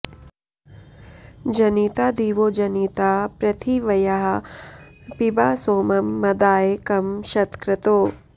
जनिता दिवो जनिता पृथिव्याः पिबा सोमं मदाय कं शतक्रतो